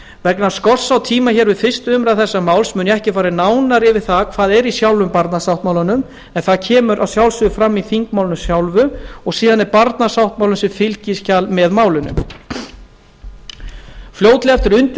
vegna skorts á tíma hér við fyrstu umræðu þessa máls mun ég ekki fara nánar yfir það hvað er í sjálfum barnasáttmálanum en það kemur að sjálfsögðu fram í þingmálinu sjálfu og síðan er barnasáttmálinn sem fylgiskjal með málinu fljótlega eftir